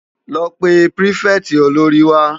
Lò pé pirifèti ólóri wá